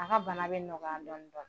A ka bana bɛ nɔgɔya dɔɔnin dɔɔnin